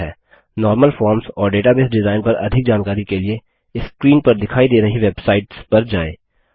normal forms और database design पर अधिक जानकारी के लिए स्क्रीन पर दिखाई दे रही वेबसाइट्स पर जाएँ